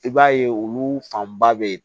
I b'a ye olu fanba bɛ yen